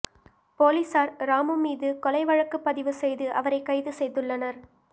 போலீசார் ராமு மீது கொலை வழக்குப்பதிவு செய்து அவரை கைது செய்துள்ளனர்